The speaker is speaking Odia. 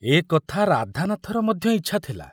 ଏ କଥା ରାଧାନାଥର ମଧ୍ୟ ଇଚ୍ଛା ଥିଲା।